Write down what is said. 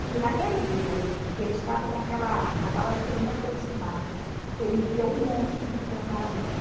que naquele dia que ele estava com aquela arma, na hora que eu me aproximava, ele via um monstro em câmara lenta.